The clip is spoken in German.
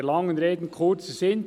Der langen Rede kurzer Sinn